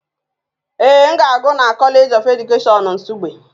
Ee, m na-agụ na College of Education Nsugbe